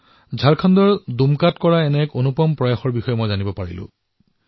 ঝাৰখণ্ডক দুমকাত কৰা এনে এক অনুপম প্ৰয়াসৰ বিষয়ে মোক কোৱা হৈছে